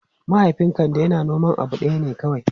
Mahaifin Kande yana noman abu ɗaya ne kawai.